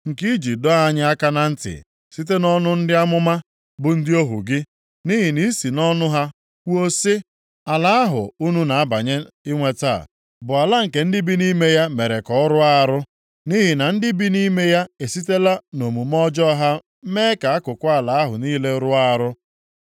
nke i ji dọọ anyị aka na ntị site nʼọnụ ndị amụma, bụ ndị ohu gị. Nʼihi na i si nʼọnụ ha kwuo sị, ‘Ala ahụ unu na-abanye inweta bụ ala nke ndị bi nʼime ya mere ka ọ rụọ arụ. Nʼihi na ndị bi nʼime ya esitela nʼomume ọjọọ ha mee ka akụkụ ala ahụ niile rụọ arụ.